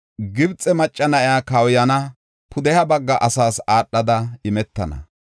Gibxe macca na7iya kawuyana; pudeha bagga asaas aadhada imetana.”